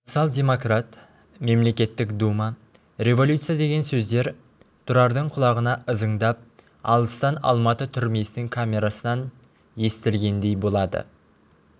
социал-демократ мемлекеттік дума революция деген сөздер тұрардың құлағына ызыңдап алыстан алматы түрмесінің камерасынан естілгендей болады